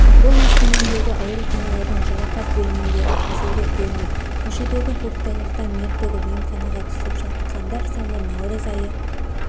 бұл өскемендегі ауруханалардың жарақат бөліміндегі қазіргі көрініс көшедегі көктайғақтан мертігіп емханаға түсіп жатқандар саны наурыз айы